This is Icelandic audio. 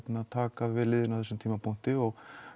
taka við liðinu á þessum tímapunkti og